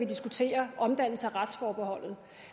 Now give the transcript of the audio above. diskuterer omdannelse af retsforbeholdet